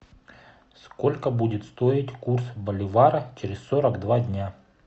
сколько будет стоить курс боливара через сорок два дня